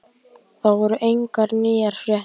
Það voru engar nýjar fréttir.